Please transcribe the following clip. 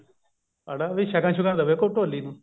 ਹਨਾ ਵੀ ਸ਼ਗਨ ਸ਼ੁਗਣ ਦਵੇ ਕੋਈ ਢੋਲੀ ਨੂੰ